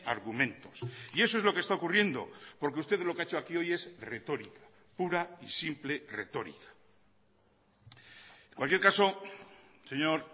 argumentos y eso es lo que está ocurriendo porque usted lo que ha hecho aquí hoy es retórica pura y simple retórica en cualquier caso señor